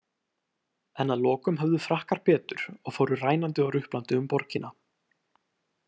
En að lokum höfðu Frakkar betur og fóru rænandi og ruplandi um borgina.